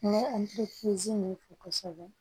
an bɛ min kɛ kosɛbɛ